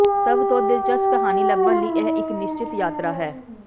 ਸਭ ਤੋਂ ਦਿਲਚਸਪ ਕਹਾਣੀ ਲੱਭਣ ਲਈ ਇਹ ਇੱਕ ਨਿਸ਼ਚਤ ਯਾਤਰਾ ਹੈ